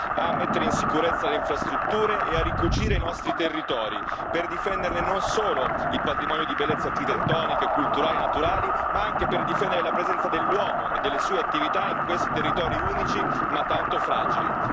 a mettere in sicurezza le infrastrutture e a ricucire i nostri territori, per difenderne non solo il patrimonio di bellezza architettoniche, culturali e naturali, ma anche per difendere la presenza dell'uomo e delle sue attività in questi territori unici, ma tanto fragili.